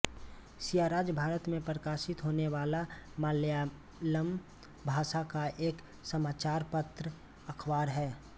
सिराज भारत में प्रकाशित होने वाला मलयालम भाषा का एक समाचार पत्र अखबार है